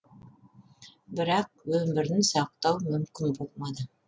бірақ өмірін сақтау мүмкін болмады